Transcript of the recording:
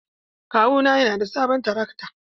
Kawuna yana da sabon trakto.